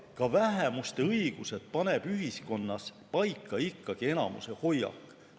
Ka vähemuste õigused paneb ühiskonnas paika ikkagi enamuse hoiak.